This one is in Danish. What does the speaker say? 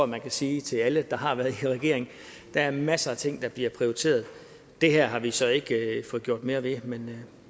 man kan sige til alle der har været i regering der er masser af ting der bliver prioriteret og det her har vi så ikke fået gjort mere ved men